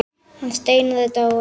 Hann Steinar er dáinn.